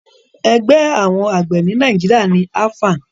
Ẹgbẹ́ àwọn àgbẹ̀ ni Nàìjíríà ni AFAN